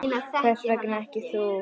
Hvers vegna ekki þú?